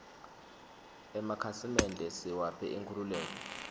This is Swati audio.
emakhasimende siwaphe inkhululeko